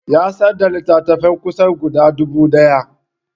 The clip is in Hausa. Ya sayar da littattafansa kusan guda dubu ɗaya